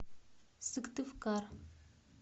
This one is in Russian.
сыктывкар